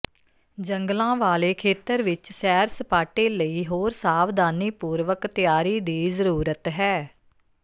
ਜੰਗਲਾਂ ਵਾਲੇ ਖੇਤਰ ਵਿਚ ਸੈਰ ਸਪਾਟੇ ਲਈ ਹੋਰ ਸਾਵਧਾਨੀਪੂਰਵਕ ਤਿਆਰੀ ਦੀ ਜ਼ਰੂਰਤ ਹੈ